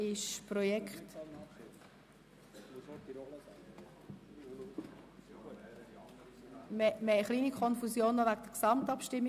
Wir haben noch eine kleine Konfusion wegen der vorherigen Abstimmung.